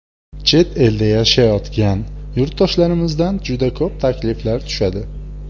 Chet elda yashayotgan yurtdoshlarimizdan juda ko‘p takliflar tushadi.